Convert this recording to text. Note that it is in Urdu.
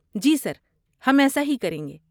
جی سر، ہم ایسا ہی کریں گے۔